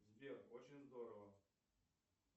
сбер очень здорово